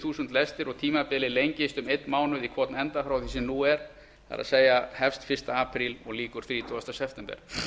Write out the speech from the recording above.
þúsund lestir og tímabilið lengist um einn mánuð í hvorn enda frá því sem nú er það er hefst fyrsta apríl og lýkur þrítugasta september